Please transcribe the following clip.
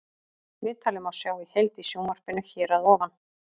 Viðtalið má sjá í heild í sjónvarpinu hér að ofan.